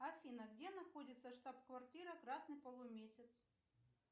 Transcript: афина где находится штаб квартира красный полумесяц